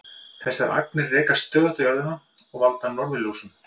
Þessar agnir rekast stöðugt á jörðina og valda norðurljósum.